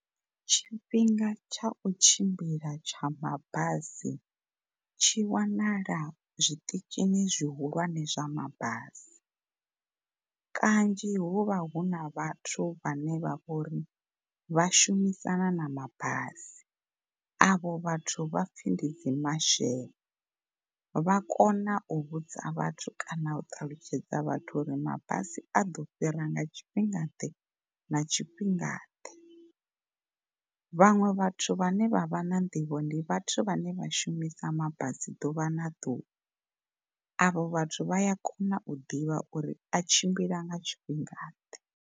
Tshifhinga tsha u tshimbila tsha mabasi tshi wanala zwiṱitshini zwihulwane zwa mabasi kanzhi hu vha huna vhathu vhane vha vha uri vhashumisana na mabasi. Avho vhathu vhapfhi ndi dzi marshal, vhakona u vhudza vhathu kana u ṱalutshedza vhathu uri mabisi a ḓo fhira nga tshifhingaḓe na tshifhingaḓe. Vhaṅwe vhathu vhane vha vha na nḓivho ndi vhathu vhane vhashumisa mabasi ḓuvha na ḓuvha avho vhathu vhaya kona u ḓivha uri a tshimbila nga tshifhingaḓe.